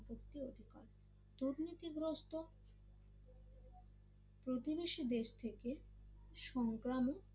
প্রতিবেশী দেশ থেকে সংক্রামক